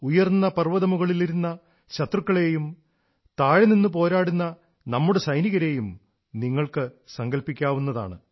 ഉയർന്ന പർവ്വതമുകളിലിരുന്ന ശത്രുക്കളെയും താഴെ നിന്നു പോരാടുന്ന നമ്മുടെ സൈനികരെയും നിങ്ങൾക്കു സങ്കൽപ്പിക്കാവുന്നതാണ്